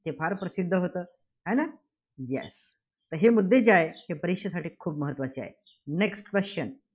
ते फार प्रसिद्ध होतं. आहे ना? Yes हे मुद्दे जे आहेत, ते परीक्षेसाठी खूप महत्त्वाचे आहेत. Next question